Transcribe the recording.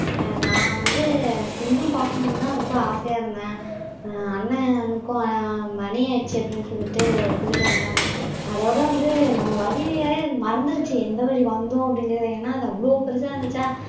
நான் வந்து சிங்கம் பாக்கணும்தான் ரொம்ப ஆசையா இருந்தேன் அண்ணனுக்கும் மணி ஆயிடுச்சு அப்படின்னு சொல்லிட்டு கூட்டிட்டு வந்துட்டாங்க அதோட வந்து நம்ம வழியை மறந்திருச்சு எந்த வழி வந்தோம் அப்படிங்கிறதை ஏன்னா அது அவ்ளோ பெருசா இருந்துச்சா